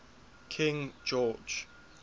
king george